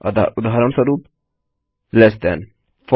अतः उदहारणस्वरूप लेस थान